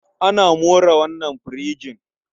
Ana more wannan firijin.